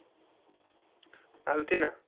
आलते ना.